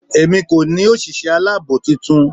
Èmi kò ní òsìsé aláàbò titun